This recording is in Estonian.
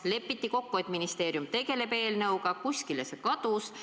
Lepiti kokku ja ministeerium tegi eelnõu, aga see kadus Justiitsministeeriumis kuhugi ära.